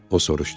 O soruşdu.